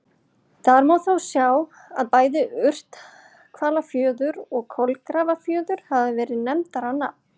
Þar má þó sjá að bæði Urthvalafjörður og Kolgrafafjörður hafa verið nefndir á nafn.